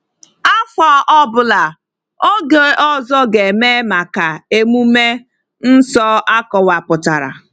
Afọ ọ bụla, oge ọzọ ga-eme maka emume nsọ akọwapụtara.